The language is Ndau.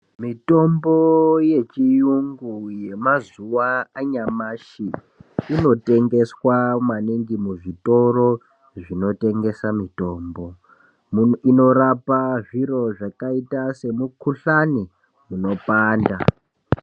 Mitombo yechiyungu yemazuwa anyamashi inotengeswa maningi muzvitoro zvinotengesa mitombo. Inorapa zviro zvakaita semukuhlani unopanda.